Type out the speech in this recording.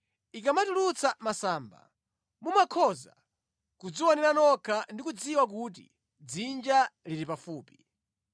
Ikamatulutsa masamba, mumakhoza kudzionera nokha ndi kudziwa kuti dzinja lili pafupi.